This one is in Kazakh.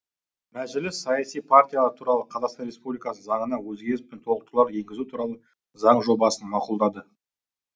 мәжіліс саяси партиялар туралы қазақстан республикасының заңына өзгеріс пен толықтырулар енгізу туралы заң жобасын мақұлдады